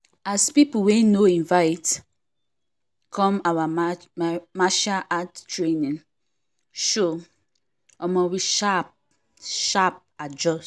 as people wey we no invite come our martial art training show omo we sharp sharp adjust